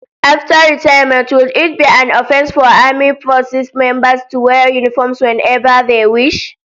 After retirement, will it be an offence for armed forces members to wear uniforms whenever they wish?